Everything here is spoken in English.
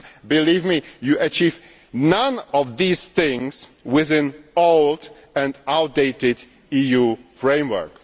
Believe me, you achieve none of these things with an old and outdated EU framework.